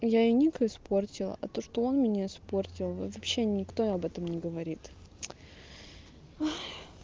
я и ник испортила а то что он меня испортил вообще никто об этом не говорит ой